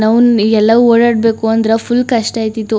ನಾವು ಎಲ್ಲ ಓಡಾಡಬೇಕು ಅಂದ್ರೆ ಫುಲ್ ಕಷ್ಟ ಇರ್ತಿತ್ತು.